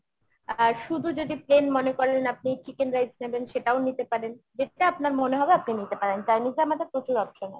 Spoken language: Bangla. আহ শুধু যদি plain মনে করেন আপনি chicken rice নেবেন সেটাও নিতে পারেন। যেটা আপনার মনে হবে আপনি নিতে পারেন। Chinese এ আমাদের প্রচুর option আছে।